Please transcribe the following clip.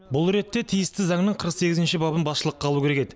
бұл ретте тиісті заңның қырық сегізінші бабын басшылыққа алу керек еді